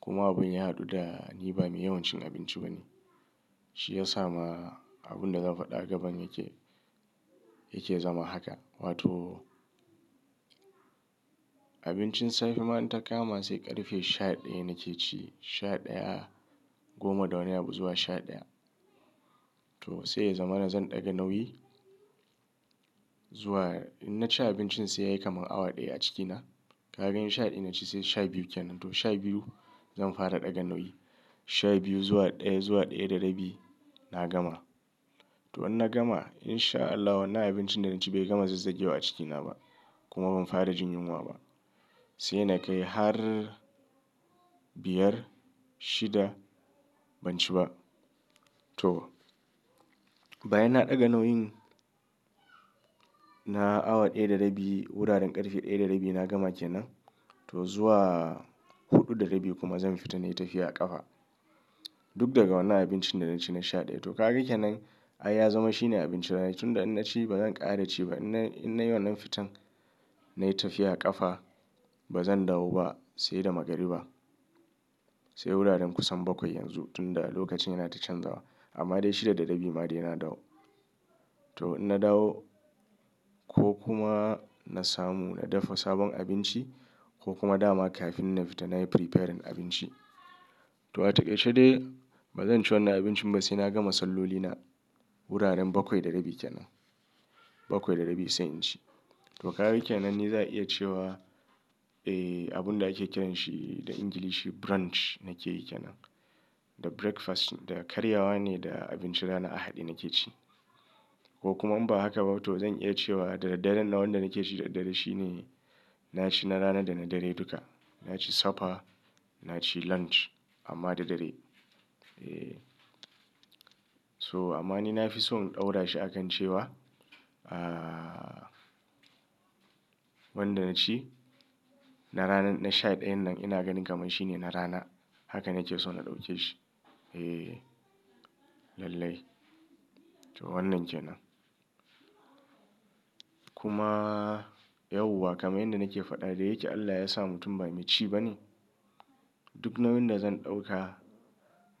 Kuma abun ya haɗu da ni bame yawan cin abinci bane. Shi ya sa ma abun da zan faɗa gaban yake, yake zama haka. Wato abincin safe ma in ta kama sai ƙarfe sha ɗaya nake ci. Sha ɗaya, goma da wani abu zuwa sha ɗaya. To sai ya zama na zan ɗaga nauyi zuwa in na ci abincin sai yayi kamar awa ɗaya a cikina. Ka gani sha ɗaya inna ci sai sha biyu kenan. To sha biyu zan fara ɗaga nauyi. Sha biyu zuwa ɗaya, zuwa ɗaya da rabi na gama. To in na gama in sha Allah wannan abincin da na ci bai gama zazzage wa a cikina ba kuma ban fara jin yunwa ba. Sai na kai har biyar, shida ban ci ba. To bayan na ɗaga nauyin na awa ɗaya da rabi, wuraren ƙarfe ɗaya da rabi na gama kenan. To zuwa huɗu da rabi kuma zan fita nayi tafiya a ƙafa. Duk daga wannan abincin da na ci na sha ɗaya. To kaga kenan ai ya zama shine abincin rana. Tun da inna ci bazan ƙare da ci ba. In nayi wannan fitan nayi tafiya a ƙafa bazan dawo ba sai da magariba. Sai wuraren kusan bakwai yanzu tun da lokacin yana ta canzawa. Amma dai shida da rabi ma dai na dawo. To in na dawo ko kuma na samu na dafa sabon abinci ko kuma dama kafin na fita nayi preparing abinci. To a takaice dai bazan ci wannan abincin ba sai na gama sallolina wuraren bakwai da rabi kenan. Bakwai da rabi sai in ci. To kaga kenan ni za a iya cewa eh abunda ake kiranshi da Ingilishi brunch nake yi kenan. Da breakfast da karyawa ne da abincin ranar a haɗe nake ci. Ko kuma in ba haka ba to zan iya cewa da daddare nan wannan da nake ci da dare shine na ci na rana da na dare duka. Na ci safa, na ci lunch amma da dare. Eh. So amma ni na fi so in ɗaura shi akan cewa ah wanda na ci na ranan na sha ɗayan nan ina ganin kamar shine na rana. Haka nake so na ɗauke shi. Eh lallai. To wannan kenan. Kuma yauwa kamar yanda nake faɗa da yake Allah yasa mutum bai me ci bane. Duk nauyin da zan ɗauka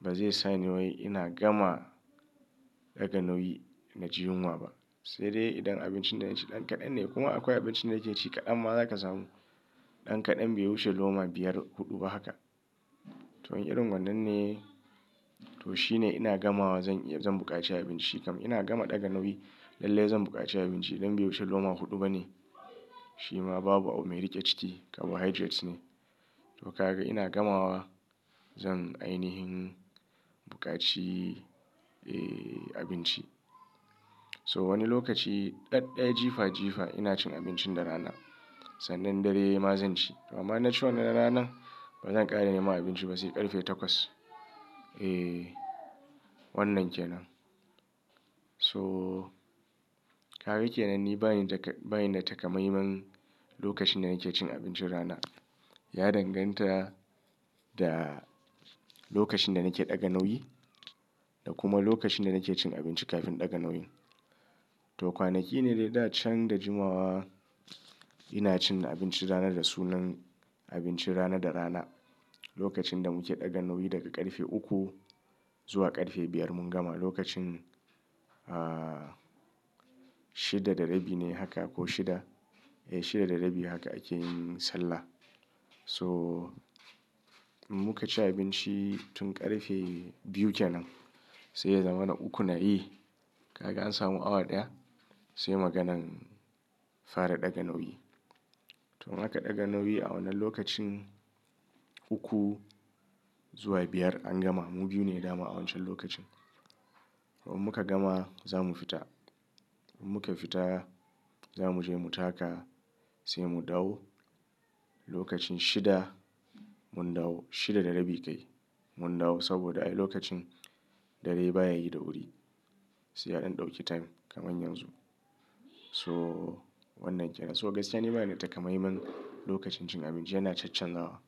bazai sani wai ina gama ɗaga nauyi na ji yunwa ba. Sai dai idan abincin da ina ci ɗan kaɗan ne kuma akwai abincin da nake ci kaɗanma zaka samu ɗan kaɗan bai wuce loma biyar, huɗu ba haka. To in irin wannan ne to shine ina gamawa zan iya zan buƙaci abinci. Kam ina gama ɗaga nauyi lallai zan buƙaci abinci idan bai wuce loma huɗu bane. Shi ma babu abu mai riƙe ciki carbohydrates ne. To ka ga ina gamawa zan ainihin buƙaci abinci. So wani lokaci ɗaɗɗaya jifa jifa ina cin abincin rana. Sannan dare ma zan ci. Amma inna ci wannan na rana bazan ƙare neman abinci ba sai ƙarfe takwas. Eh wannan kenan. To kaga kenan ni bani da taƙamaiman lokacin da nake cin abincin rana. Ya danganta da lokacin da nake ɗaga nauyi da kuma lokacin da nake cin abinci kafin ɗaga nauyin. To kwanaki ne dai da can da jimawa ina cin abincin rana da sunan abincin rana da rana. Lokacin da muke ɗaga nauyi daga ƙarfe uku zuwa ƙarfe biyar mun gama lokacin shida da rabi ne haka ko shida. Eh shida da rabi haka akeyin sallah. So muka ci abinci tun ƙarfe biyu kenan sai ya zama na uku na yi. Kaga an samu awa ɗaya sai maganan fara ɗaga nauyi. To in aka ɗaga nauyi a wannan lokacin uku zuwa biyar an gama. Mu biyu ne dama a wancan lokacin. To in muka gama zamu fita. Muka fita zamuje mu taka sai mu dawo lokacin shida mun dawo. Shida da rabi kai mun dawo saboda ai lokacin dare baya yi da wuri. Sai yaɗan ɗauki time kamar yanzu. So wannan kenan. So gaskiya ni banida taƙamaiman lokacin cin abinci yana cancanzawa.